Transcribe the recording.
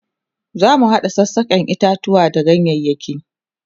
zamu hada sassaken itatuwa da ganyayaki